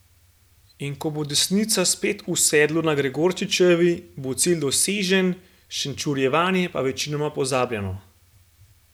In ko bo desnica spet v sedlu na Gregorčičevi, bo cilj dosežen, šenčurjevanje pa večinoma pozabljeno.